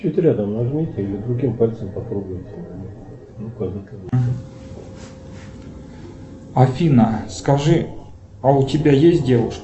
афина скажи а у тебя есть девушка